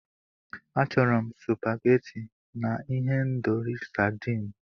Achọrọ m supageti na ihendori sadịn.